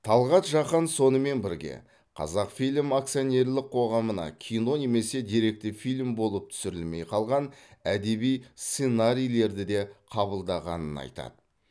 талғат жақан сонымен бірге қазақфильм акционерлік қоғамына кино немесе деректі фильм болып түсірілмей қалған әдеби сценарийлер де қабылданғанын айтады